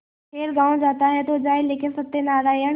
खैर गॉँव जाता है तो जाए लेकिन सत्यनारायण